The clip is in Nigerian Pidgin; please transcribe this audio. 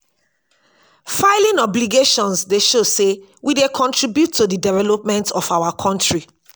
filing obligations dey show say we dey contribute to the development of our country.